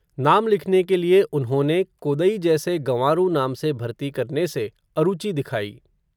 नाम लिखने के लिए उन्होंने, कोदई जैसे गँवारू नाम से भरती करने से, अरुचि दिखाई